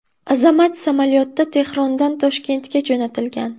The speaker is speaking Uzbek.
Azamat samolyotda Tehrondan Toshkentga jo‘natilgan.